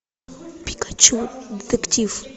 пикачу детектив